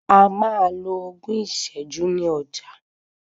A máa lo ogún ìsẹ́jú ní ọjà.